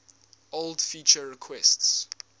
old feature requests